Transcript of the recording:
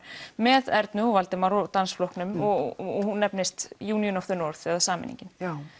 með Ernu og Valdimar og dansflokknum og hún nefnist union of the eða sameiningin